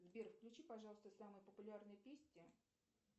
сбер включи пожалуйста самые популярные песни